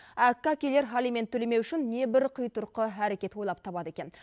әккі әкелер алимент төлемеу үшін небір қитұрқы әрекет ойлап табады екен